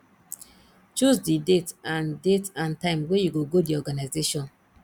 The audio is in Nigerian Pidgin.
choose di date and date and time wey you go go di organisation